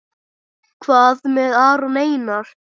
Hvað með Aron Einar?